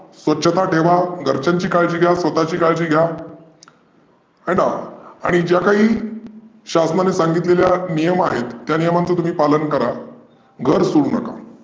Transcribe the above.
स्वच्छता ठेवा, घरच्यांची काळजी, घ्या स्वताची काळजी घ्या हय ना आणि ज्या काही शासनानी सांगितलेले नियम आहेत त्या नियमांच तुम्ही पालन करा. घर सोडू नका.